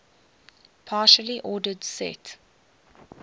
partially ordered set